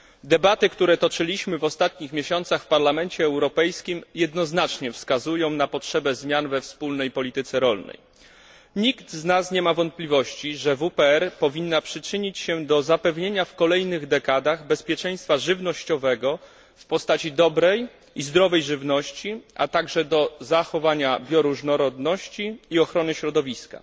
Debaty, które toczyliśmy w ostatnich miesiącach w Parlamencie Europejskim, jednoznacznie wskazują na potrzebę zmian we wspólnej polityce rolnej. Nikt z nas nie ma wątpliwości, że WPR powinna przyczynić się do zapewnienia w kolejnych dekadach bezpieczeństwa żywnościowego w postaci dobrej i zdrowej żywności, a także do zachowania bioróżnorodności i ochrony środowiska.